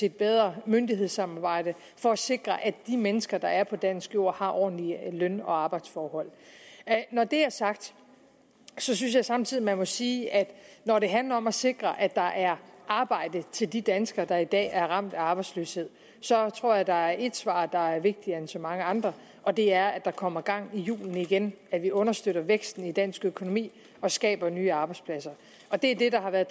et bedre myndighedssamarbejde for at sikre at de mennesker der er på dansk jord har ordentlige løn og arbejdsforhold når det er sagt så synes jeg samtidig at man må sige at når det handler om at sikre at der er arbejde til de danskere der i dag er ramt af arbejdsløshed så tror jeg at der er et svar der er vigtigere end så mange andre og det er at der kommer gang i hjulene igen at vi understøtter væksten i dansk økonomi og skaber nye arbejdspladser det er det der har været